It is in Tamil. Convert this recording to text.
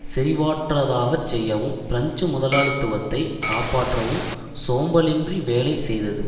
செறிவற்றதாகச் செய்யவும் பிரெஞ்சு முதலாளித்துவத்தைக் காப்பாற்றவும் சோம்பலின்றி வேலை செய்தது